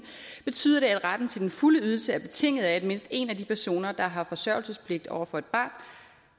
betyder det at retten til den fulde ydelse er betinget af at mindst en af de personer der har forsørgelsespligt over for et barn